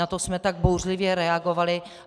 Na to jsme tak bouřlivě reagovali.